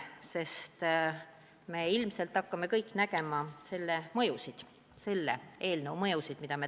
Paraku me ilmselt hakkame kõik nägema selle täna menetletava eelnõu halba mõju.